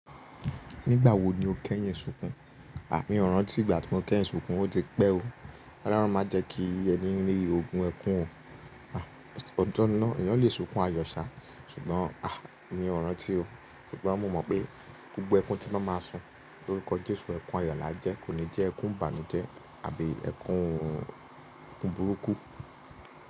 Nígbà wo ni o kẹ́ yin sunkun? À mi ràntí ìgbà tí mo kẹ́ yẹn sunkun ó ti pẹ́ o. Ọlọ́run má jẹ́ kí ẹní rí ogun ẹkún o. Otọ́ ni náà, èèyàn lè sunkun àyọ̀ ṣá. Ṣùgbọ́n à mi ó ràntí o. Ṣùgbọ́n mo mọ̀ pé gbogbo ẹkún tí mo máa sún lórúkọ Jésù ẹkún ayọ̀lá jẹ́, kò ní jẹ́ ẹkún ìbànújẹ́ àbí ẹkún burúkú.